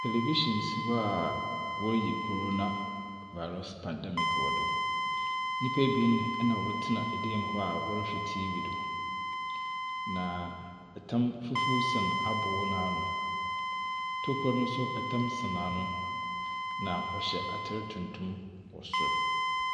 Television si hɔ a wɔreyi corona virus pandemic wɔ do. Nnipa ebien na wɔtena dan mu hɔ a wɔrehwɛ TV do, na tam fufuw sɛn aboo no ano. Tokua no nso, tam sɛn ano, na wɔhyɛ atar tuntum wɔ sor.